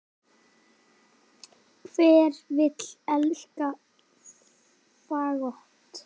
Hver vill elska fagott?